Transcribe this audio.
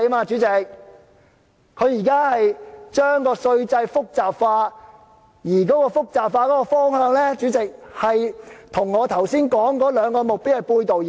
主席，政府現正將稅制複雜化，而這個複雜化的方向，跟我剛才說的兩個目標背道而馳。